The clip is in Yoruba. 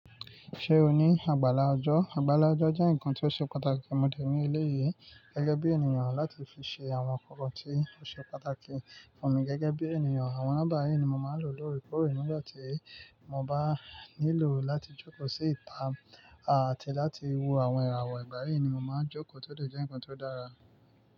Ṣé o ní agbála ọjọ́? Agbála ọjọ́ jẹ́ ǹnkan tí ó ṣe pàtàkì mọ̀ dẹ̀ ní eléyìí gẹ́gẹ́ bí ènìyàn láti fi ṣe àwọn nnkankan tí ó ṣe pàtàkì fún mi gẹ́gẹ́ bí ènìyàn. Àwọn nọ́mbà yii ni mo máa ń lò lóorekọ̀ore nígbà tí mo bá nílò láti jókòó sí ìta àti láti wo àwọn ìràwọ̀. Ìgbáyi ni mo máa ń jókòó tódẹ̀ jẹ́ ǹnkan tó dára.